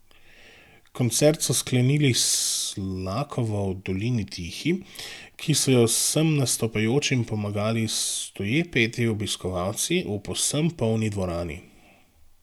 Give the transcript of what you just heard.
Koncert so sklenili s Slakovo V dolini tihi, ki so jo vsem nastopajočim pomagali stoje peti obiskovalci v povsem polni dvorani.